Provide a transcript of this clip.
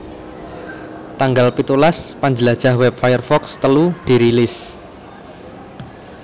Tanggal pitulas Panjlajah wèb Firefox telu dirilis